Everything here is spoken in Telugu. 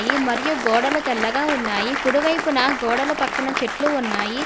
మరియు గోడల తెల్లగా ఉన్నాయి కుడివైపున గోడలు పక్కన చెట్లు ఉన్నాయి.